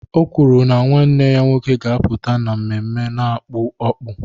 O kwuru na nwanne ya nwoke ga-apụta n'ememme a n'akpụ akpụ